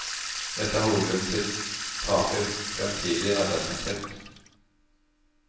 Dette var hovedgrunnen til tapet i fremtidig arbeidsinntekt.